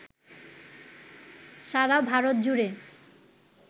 সারা ভারত জুড়ে